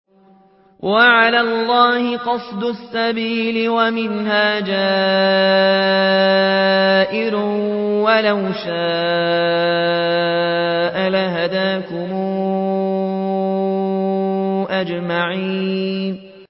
وَعَلَى اللَّهِ قَصْدُ السَّبِيلِ وَمِنْهَا جَائِرٌ ۚ وَلَوْ شَاءَ لَهَدَاكُمْ أَجْمَعِينَ